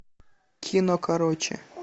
кино короче